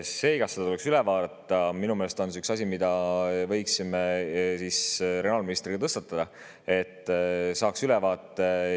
See, kas see tuleks üle vaadata, on minu meelest üks asi, mille võiksime regionaalministrile tõstatada, et saaks sellest ülevaate.